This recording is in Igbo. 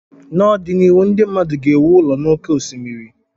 N'ọdịnihu ndị mmadụ ga-ewu ụlọ n'oké osimiri